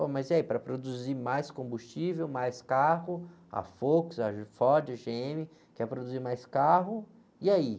Pô, mas e aí, para produzir mais combustível, mais carro, a Wolks, a Ford, a gê-ême, quer produzir mais carro, e aí?